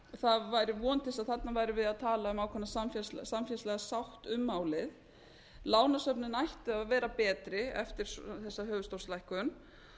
það væri von til þess að þarna værum við að tala um ákveðna samfélagslega sátt um málið lánasöfnin ættu að vera betri eftir þessa höfuðstólslækkun